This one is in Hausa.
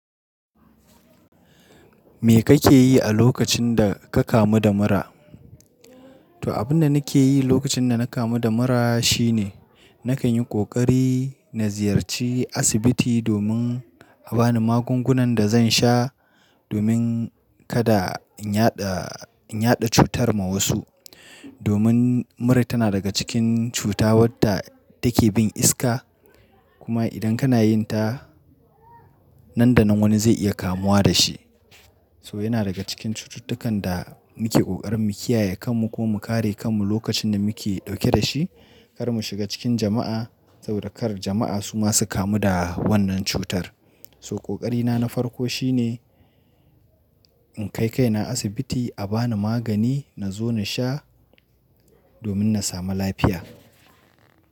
Me kake yi a lokacin da ka kamu da mura? To, abin da nake yi lokacin da na kamu da mura shine, na kan yi ƙoƙari na ziyarci asibiti domin a ba ni magungunan da zan sha, domin kada in yaɗa, in yaɗa cutar ma wasu. Domin mura tana daga cikin cuta wadda take bin iska. Kuma idan kana yin ta, nan da nan wani zai iya kamuwa da shi. To yana daga cikin cututtukan da muke ƙoƙarin mu kiyaye kanmu ko mu kare kanmu lokacin da muke ɗauke da shi, kar mu shiga cikin jama'a saboda kar jama'a su masu kamu da wannan cutar. So ƙoƙari na na farko shine in kai, kai na asibiti a ba ni magani na zo na sha domin na samu lafiya.